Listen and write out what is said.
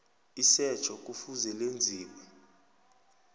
isetjho kufuze lenziwe